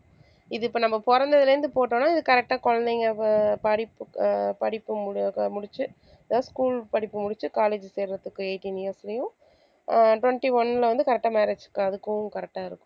இது இப்ப நம்ம பொறந்ததுல இருந்து போட்டோம்னா இது correct டா குழந்தைங்க ப~ படிப்பு அஹ் படிப்பு மு~ அஹ் முடிச்சு school படிப்பு முடிச்சு college சேர்றதுக்கு eighteen years லயும் ஆஹ் twenty one ல வந்து correct ஆ marriage க்கு அதுக்கும் correct ஆ இருக்கும்